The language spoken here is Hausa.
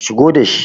Shigo da shi.